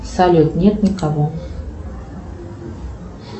салют нет никого